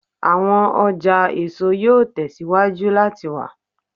Awọn ọja eso yoo tẹsiwaju lati wa